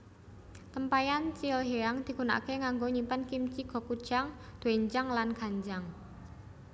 Tempayan Chilhyang digunakake kanggo nyimpen kimchi gochujang doenjang lan ganjang